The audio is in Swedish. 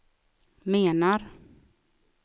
menar